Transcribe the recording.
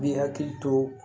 Bi hakili to